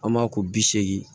An b'a ko bi seegin